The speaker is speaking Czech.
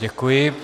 Děkuji.